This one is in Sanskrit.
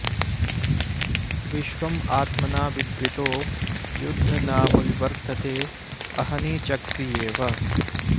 विश्वं त्मना बिभृतो यद्ध नाम वि वर्तेते अहनी चक्रियेव